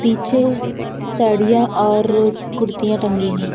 पीछे साड़ियां और कुर्तियां टंगी हैं।